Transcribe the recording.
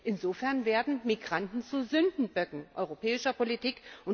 Insofern werden Migranten zu Sündenböcken europäischer Politik.